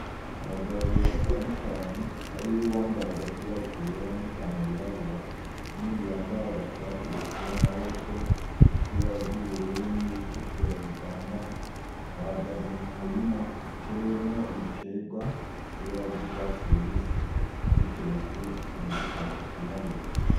Abagabo babiri batandukanye hariho uwambaye agapira kera n'ipantaro y'irabura, n'uyundi yambaye agashati gaciwe amaboko gafise ibara ry'ubururu n'iritukura bivanganye, bahagaze m'umurima utewemwo ibiterwa bifise ibara ry'urwatsi rubisi biteretswe mudushashe twirabura.